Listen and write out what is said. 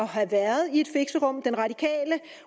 have været i et fixerum den radikale